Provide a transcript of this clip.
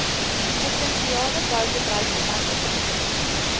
provinsiale boubedryfverwante tenders